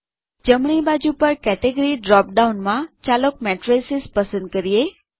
જમણી બાજુ પર કેટેગરી ડ્રોપ ડાઉનમાં ચાલો મેટ્રિસિસ પસંદ કરીએ